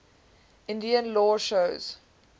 indian law shows